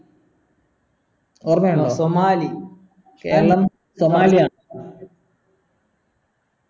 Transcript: ഓർമിണ്ടോ Somali Keralam സോമാലിയാണ്